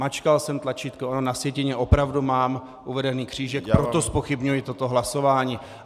Mačkal jsem tlačítko, ale na sjetině opravdu mám uveden křížek, proto zpochybňuji toto hlasování.